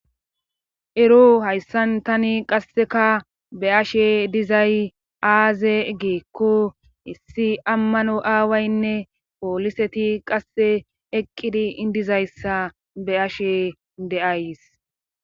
Ero hayssan tani qasseka be ashe dizay aaze geekko issi ammano aawaynne pooliseti qasse eqqidi indizayssa be ashe de7ays